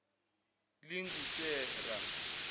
lingusera